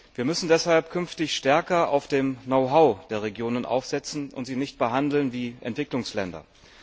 Wir müssen deshalb künftig stärker bei dem Know how der Regionen ansetzen und sie nicht behandeln wie Entwicklungsländer.